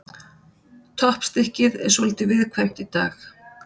Toppstykkið er svolítið viðkvæmt í dag.